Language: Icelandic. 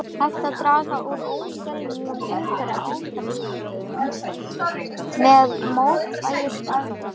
Hægt er að draga úr óæskilegum umhverfisáhrifum með mótvægisaðgerðum.